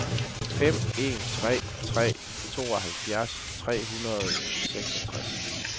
fem en tre tre tooghalvfjerds tre hundrede og seksogtres